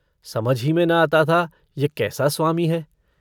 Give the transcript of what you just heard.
समझ ही में न आता था यह कैसा स्वामी है।